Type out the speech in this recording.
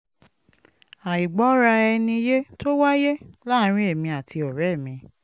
àìgbọ́ra-ẹni-yé tó wáyé láàárín èmi àti ọ̀rẹ́ mi